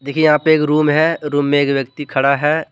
यहां पे एक रूम है रूम में एक व्यक्ति खड़ा है।